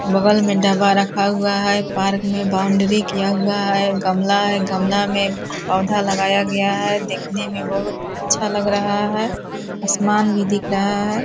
बगल में डब्बा रखा हुआ है पार्क में बाउंड्री किया हुआ है गमला है गमला में पौधा लगाया गया है देखने में बहुत अच्छा लग रहा है आसमान भी दिख रहा है ।